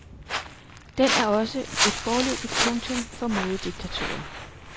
Den er også et foreløbigt punktum for modediktaturet.